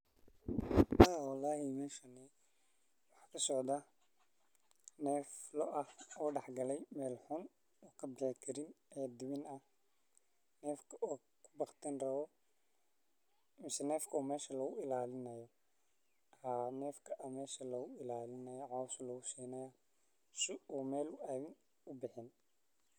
Meeshani waxaa kasocdaa neef loo ah oo dex galay meel xun uu kabixi karin oo dimani rabo mise meesha ayaa lagu ilaalini haaya si uu ubixin.